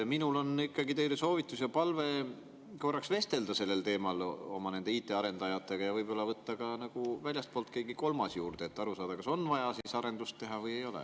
Mul on teile soovitus ja palve korraks vestelda sel teemal oma IT‑arendajatega ja võib võtta väljastpoolt kellegi kolmanda juurde, et aru saada, kas on vaja arendust teha või ei ole.